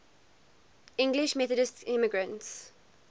english methodist immigrants